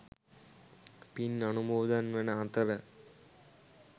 පින් අනුමෝදන් වන අතර